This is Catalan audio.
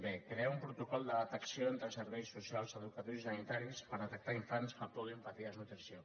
b crear un protocol de detecció entre serveis socials educatius i sanitaris per detectar infants que puguin patir desnutrició